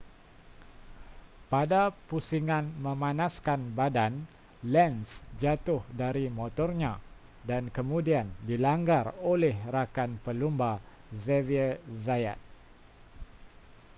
pada pusingan memanaskan badan lenz jatuh dari motornya dan kemudian dilanggar oleh rakan pelumba xavier zayat